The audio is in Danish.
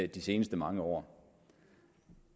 de seneste mange år